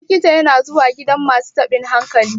likita yana zuwa gidan masu tabin hankali